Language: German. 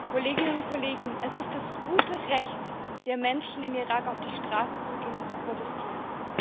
Herr Präsident, Kolleginnen und Kollegen! Es ist das gute Recht der Menschen im Irak, auf die Straße zu gehen und zu protestieren.